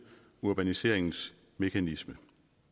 urbaniseringsmekanismen